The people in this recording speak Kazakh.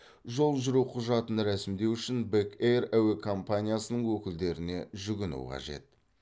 жол жүру құжатын рәсімдеу үшін бек эйр әуе компаниясының өкілдеріне жүгіну қажет